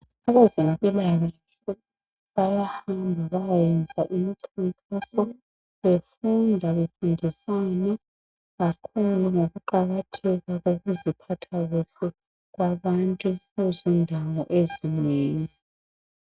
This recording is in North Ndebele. Abezempilakahle bayahamba baye yenza imikhankaso befunda befundisana kakhulu ngokuqakatheka kokuziphatha kahle kwabantu kuzindawo ezinengi.